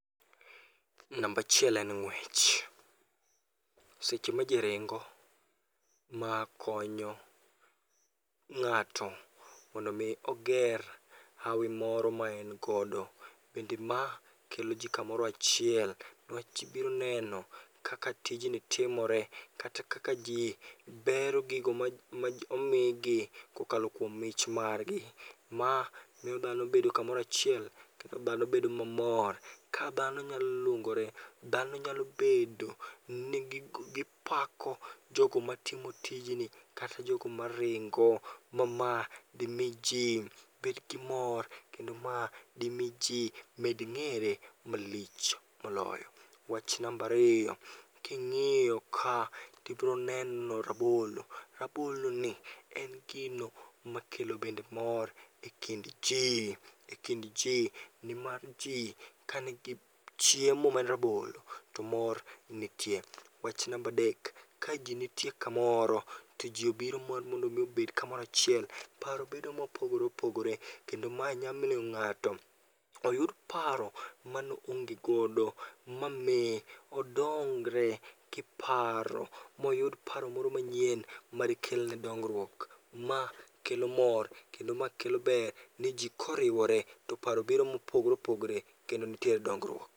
Nambachiel en ng'wech: seche ma ji ringo ma konyo ng'ato mondo mi oger hawi moro ma en godo. Bende ma kelo ji kamoro achiel, niwach ibiro neno kaka tijni timore kata kaka ji bero gigo ma omigi, kokalo kuom mich margi. Ma miyo dhano bedo kamorachiel, kata dhano bedo mamor. Ka dhano nyalo luongore, dhano nyalo bedo ni gipako jogo ma timo tijni, kata jogo maringo. Ma ma dimi ji bed gi mor kendo ma di mi ji med ng'ere malich moloyo. Wach nambariyo, king'iyo ka tibiro neno rabolo, raboloni en gino makelo bende mor e kind ji, e kind ji. Nimar ji kanigi chiemo ma rabolo, to mor nitie. Wach nambadek: ka ji nitie kamoro to ji obiro mar mondo mi obed kamorachiel, paro bedo mopogore opogore. Kendo mae nyamiyo ng'ato oyudo paro mano onge godo, mami odongre kiparo moyud paro moro manyien, madikelne dongruok. Ma kelo mor, kendo ma kelo ber ni ji koriwore to paro biro mopogore opogore kendo nitiere dongruok.